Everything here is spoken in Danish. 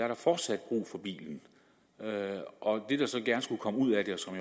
har fortsat brug for bilen det der så gerne skulle komme ud af det